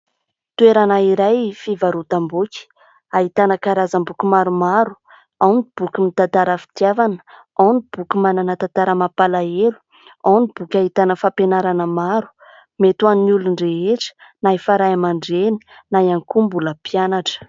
Toerana iray fivarotam-boky, ahitana karazam-boky maromaro, ao ny boky mitantara fitiavana, ao ny boky manana tantara mampalahelo, ao ny boky ahitana fampianarana maro, mety ho an'ny olon-drehetra, na efa Ray aman-dReny, na ihany koa mbola mpianatra.